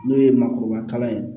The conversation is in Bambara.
N'o ye makɔrɔba ye